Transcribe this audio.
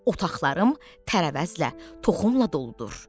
Otaqlarım tərəvəzlə, toxumla doludur.